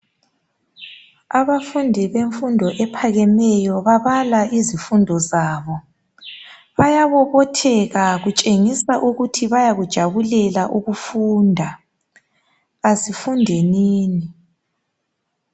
Abafundi bemfundo ephakameyo babala izifundi zabo bayabobotheka kutshengisa ukuthi bayakujabulela ukufunda asifundenini.